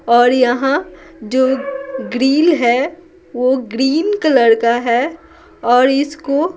और यहाँ जो ग्रिल है वो ग्रीन कलर का है और इसको --